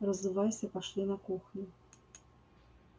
разувайся пошли на кухню